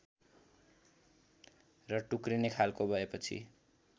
र टुक्रिने खालको भएपछि